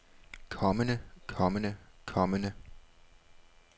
kommende kommende kommende